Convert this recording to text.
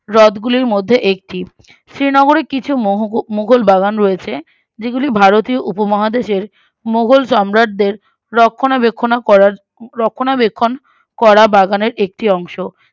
হ্রদ গুলির মধ্যে একটি শ্রীনগরে কিছু মোহোগও মুঘল বাগান রয়েছে যেগুলি ভারতীয় উপমহাদেশের মোঘল সম্রাটদের রক্ষণা বেক্ষকনা করার রক্ষণা বেক্ষন করা বাগানের একটি অংশ